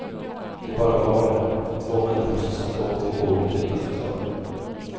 De bara var där, två människor som satt och åt vid bordet utan förklaring.